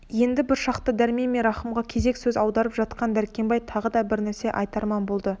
енді бір шақта дәрмен мен рахымға кезек көз аударып жатқан дәркембай тағы бір нәрсе айтарман болды